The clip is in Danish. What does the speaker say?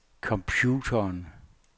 computeren